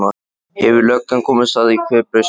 Hefur löggan komist að því hver braust inn?